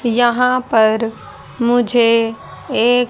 यहाँ पर मुझे एक--